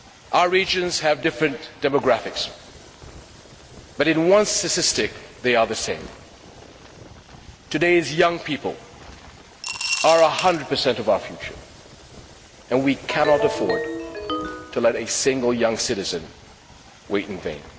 Our regions have different demographics, but in one statistic they are the same today's young people are 100 of our future and we cannot afford to let a single young citizen wait in vain.